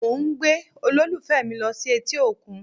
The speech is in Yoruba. Mo ń gbé olólùfẹ́ mi lọ sí etí òkun